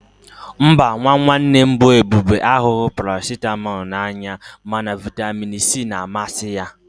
Mba, nwa nwanne m bụ Ebube ahụghị Paracịtamọl n'anya mana vitamin C na-amasị ya